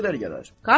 Görək nə qədər gələr.